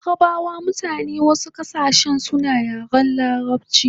Larabawa da mutanen wasu kasashe suna yaren larabchi